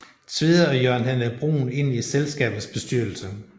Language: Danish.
Tvede og Jørgen Henrik Bruhn ind i selskabets bestyrelse